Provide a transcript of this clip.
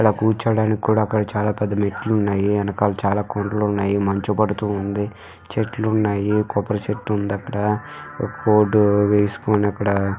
ఇక్కడ కూర్చోడానికి కూడా చాలా పెద్ద మెట్లు ఉన్నాయి. వెనకాల చాలా కొండలు ఉన్నాయి. మంచు పడుతుంది. చెట్లు ఉన్నాయి. కొబ్బరి చెట్టు ఉంది అక్కడ ఒక కోట్ వేసుకొని అక్కడ--